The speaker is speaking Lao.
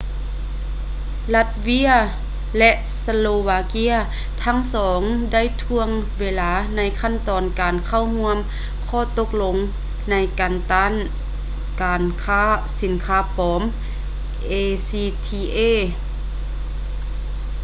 ລັດເວຍ ແລະ ສະໂລວາເກຍ ທັງສອງໄດ້ຖ່ວງເວລາໃນຂັ້ນຕອນການເຂົ້າຮ່ວມ ຂໍ້ຕົກລົງໃນການຕ້ານການຄ້າສິນຄ້າປອມ acta